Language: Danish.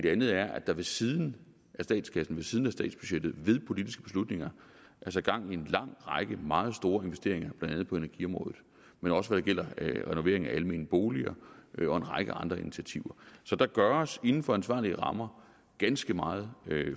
andet er at der ved siden af statskassen ved siden af statsbudgettet ved politiske beslutninger er sat gang i en lang række meget store investeringer blandt andet på energiområdet men også når det gælder renoveringer af almene boliger og en række andre initiativer så der gøres inden for ansvarlige rammer ganske meget